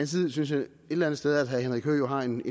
side synes jeg et eller andet sted at herre henrik høegh har en